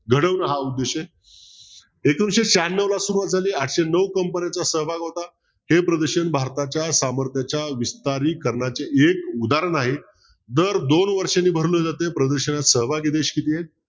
घडवणं हा उद्देश आहे एकोणविशे शहाण्णवला सुरवात झाली आठशे नऊ कंपन्यांचा सहभाग होता हे प्रदर्शन भारताच्या सामर्थ्याच्या विस्तारीकरणाचे एक उदाहरण आहे दर दोन वर्षाने भरलं जात प्रदर्शनात सहभागी देश किती आहेत